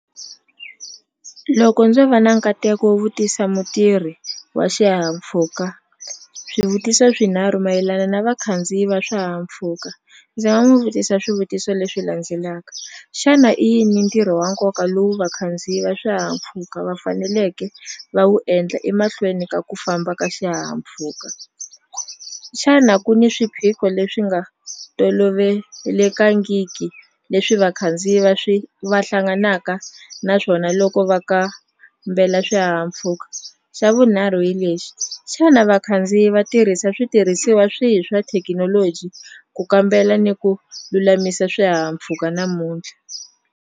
Loko ndzo va na nkateko wo vutisa mutirhi wa swihahampfuka swivutiso swinharhu mayelana na vakhandziyi va swihahampfhuka ndzi nga n'wi vutisa swivutiso leswi landzelaka, xana i yini ntirho wa nkoka lowu vakhandziyi va swihahampfhuka va faneleke va wu endla emahlweni ka ku famba ka xihahampfhuka? Xana ku ni swiphiqo leswi nga tolovelekangiki leswi vakhandziyi va swi va hlanganaka na swona loko va kambela swihahampfhuka? Xa vunharhu hi lexi, xana vakhandziyi va tirhisa switirhisiwa swihi swa thekinoloji ku kambela ni ku lulamisa swihahampfhuka namuntlha?